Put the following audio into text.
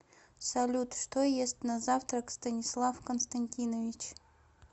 салют что ест на завтрак станислав константинович